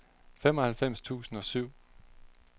femoghalvfems tusind og syv